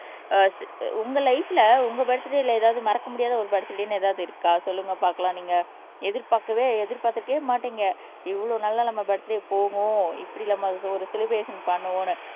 அஹ் உங்க லைப்ல உங்க பர்த்டேல ஏதாவது மறக்க முடியாத ஒரு பர்த்டேன்னு ஏதாவது இருக்கா சொல்லுங்க பாக்கலாம் நீங்க எதிர்பார்க்கவே எதிர்பார்த்திருக்கவே மாட்டீங்க இவ்வளவு நல்லா நம்ம பர்த்டே போகும் இப்படி நம்ம ஒரு செலிப்ரஷன் பண்ணுவோன்னு